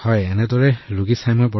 ডাঃ মদন মণিঃ হয় ভাল লাগিছে